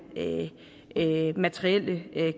materielle